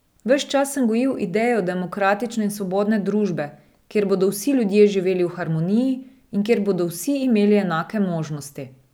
Ves čas sem gojil idejo demokratične in svobodne družbe, kjer bodo vsi ljudje živeli v harmoniji in kjer bodo vsi imeli enake možnosti.